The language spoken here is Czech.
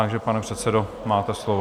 Takže pane předsedo, máte slovo.